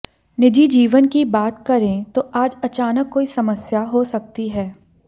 निजी जीवन की बात करें तो आज अचानक कोई समस्या हो सकती है